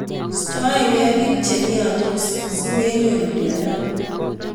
Istoekei bik chemnyandos simenyoru mnyendo.